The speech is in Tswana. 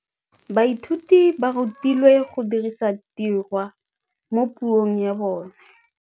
Baithuti ba rutilwe go dirisa tirwa mo puong ya bone.